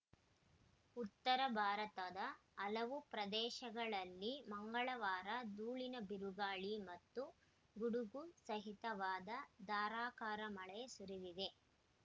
ಉತ್ತರ ಭಾರತದ ಹಲವು ಪ್ರದೇಶಗಳಲ್ಲಿ ಮಂಗಳವಾರ ಧೂಳಿನ ಬಿರುಗಾಳಿ ಮತ್ತು ಗುಡುಗು ಸಹಿತವಾದ ಧಾರಾಕಾರ ಮಳೆ ಸುರಿದಿದೆ